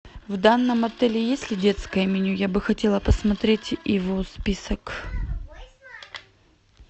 в данном отеле есть ли детское меню я бы хотела посмотреть его список